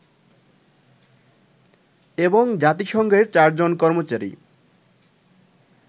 এবং জাতিসংঘের চারজন কর্মচারী